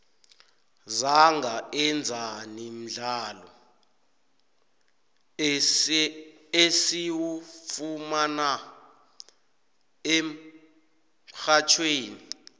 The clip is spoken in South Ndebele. uzangaenzani mdlalo esiwufumana emxhatjhweni